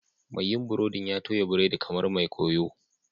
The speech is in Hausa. Mai yin burodin ya toya biredi kamar mai koyo